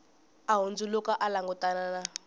a hundzuluka a langutana na